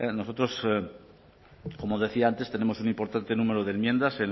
nosotros como decía antes tenemos un importante número de enmiendas